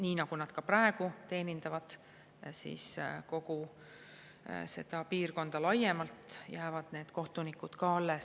Nii nagu nad praegu teenindavad kogu seda piirkonda laiemalt, nii teenindavad need kohtunikud ka edasi.